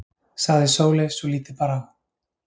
sagði Sóley svo lítið bar á.